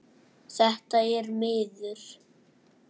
Þetta er miður.